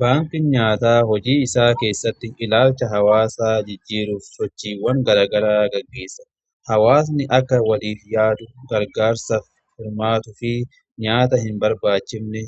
Baanki nyaata hojii isaa keessatti ilaalcha hawaasaa jijjiiruuf sochiiwwan garagaraa gaggeessa. Hawaasni akka waliif yaadu gargaarsa firmaatufi nyaata hin barbaachifne